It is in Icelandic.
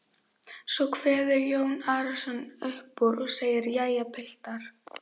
Svo kveður Jón Arason upp úr og segir: Jæja, piltar.